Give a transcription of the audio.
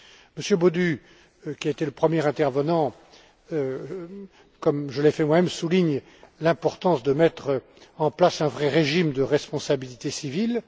Monsieur Bodu, qui a été le premier intervenant, comme je l'ai fait moi même, souligne l'importance de mettre en place un vrai régime de responsabilité civile.